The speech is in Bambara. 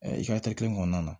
i ka kelen kɔnɔna na